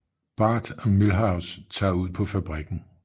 Bart og Milhouse tager ud på fabrikken